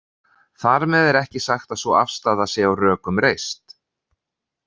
Þar með er ekki sagt að sú afstaða sé á rökum reist.